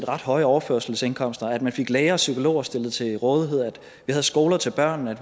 ret høje overførselsindkomster at man fik læger og psykologer stillet til rådighed at der var skoler til børnene at